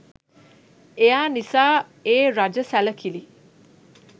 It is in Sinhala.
එයා නිසා ඒ රජ සැලකිලි